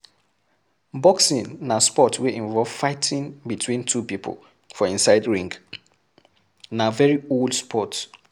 Boxing na sport wey involve fighting between two pipo for inside ring, na very old sport